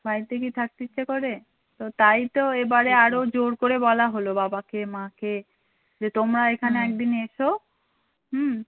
বাড়িতে কি থাকতে ইচ্ছা করে? তো তাই তো এবারে আরো জোর করে বলা হলো বাবাকে মাকে যে তোমরা এখানে একদিন এসো হুম